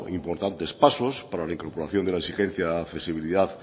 importantes pasos para la incorporación de la exigencia accesibilidad